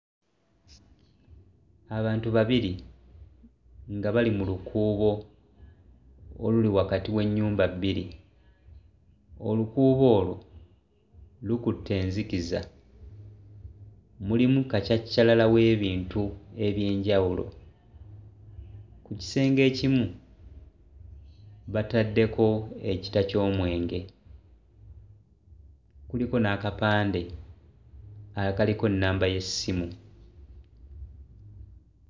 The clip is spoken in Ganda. Abantu babiri nga bali mu lukuubo oluli wakati w'ennyumba bbiri. Olukuubo olwo lukutte enzikiza, mulimu kacaccalala w'ebintu eby'enjawulo. Ku kisenge ekimu bataddeko ekita ky'omwenge, kuliko n'akapande akaliko nnamba y'essimu.